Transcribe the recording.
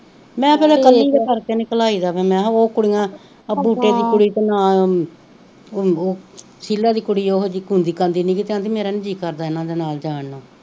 ਉਹ ਕੁੜੀਆਂ ਆ ਬੂਟੇ ਦੀ ਕੁੜੀ ਦਾ ਉਹ ਸ਼ੀਲਾ ਦੀ ਕੁੜੀ ਉਹ ਮੇਰਾ ਨੀ ਜੀ ਕਰਦਾ ਹਨ ਦੇ ਨਾਲ ਜਾਨ ਨੂੰ